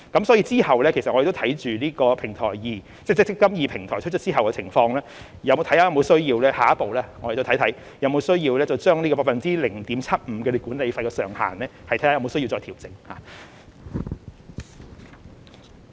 所以，之後我們亦會留意"積金易"平台推出後的情況，檢視下一步有沒有需要將 0.75% 的管理費上限再作調整。